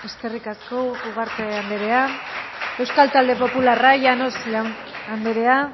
eskerrik asko ugarte andrea euskal talde popularra llanos andrea